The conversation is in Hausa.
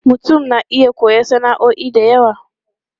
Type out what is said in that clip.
Mutum na iya koyon sana'o'i da yawa.